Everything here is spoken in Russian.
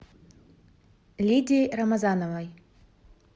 лидии рамазановой